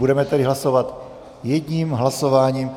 Budeme tedy hlasovat jedním hlasováním.